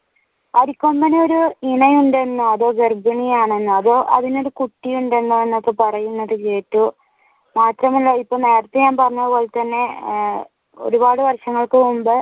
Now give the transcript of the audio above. അരിക്കൊമ്പൻ ഒരു ഇണ ഉണ്ടെന്നോ അതോ ഗർഭിണി ആണെന്നോ അതോ അതിനൊരു കുട്ടി ഉണ്ടെന്നോ എന്നൊക്കെ പറയുന്നത് കേട്ടൂ ഇപ്പൊ മാത്രമല്ല നേരത്തെ ഞാൻ പറഞ്ഞത് പോലെ ആഹ് തന്നെ ആഹ് ഒരുപാട് വർഷങ്ങൾക്ക് മുൻപ്